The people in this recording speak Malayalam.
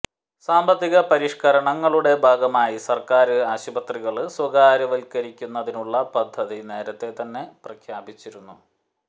സാമ്പത്തിക പരിഷ്കരണങ്ങളുടെ ഭാഗമായി സര്ക്കാര് ആശുപത്രികള് സ്വകാര്യവല്ക്കരിക്കുന്നതിനുള്ള പദ്ധതി നേരത്തെ തന്നെ പ്രഖ്യാപിച്ചിരുന്നു